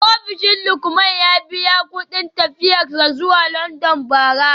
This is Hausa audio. Ofishin Lukman ya biya kudin tafiyar sa zuwa london bara